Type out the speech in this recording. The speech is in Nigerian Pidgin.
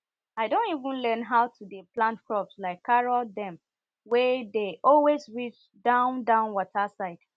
i don even learn how to dey plant crops like carrot dem wey dey always reach down down water side